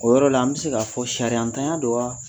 O yɔrɔ la an bɛ se ka fɔ sariyantanya don wa?